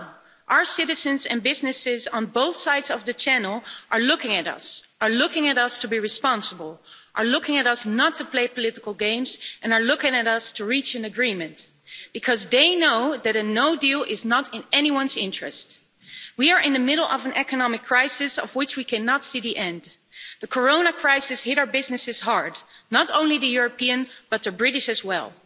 No, our citizens and businesses, on both sides of the Channel, are looking at us to be responsible, are looking at us not to play political games, and are looking at us to reach an agreement because they know that a no deal is not in anyone's interests. We are in the middle of an economic crisis, of which we cannot see the end. The corona crisis hit our businesses hard, not only the European but the British as well.